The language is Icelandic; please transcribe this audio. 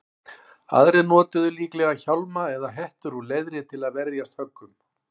Aðrir notuðu líklega hjálma eða hettur úr leðri til að verjast höggum.